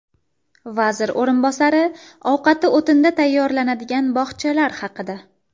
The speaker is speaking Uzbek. Vazir o‘rinbosari ovqati o‘tinda tayyorlanadigan bog‘chalar haqida.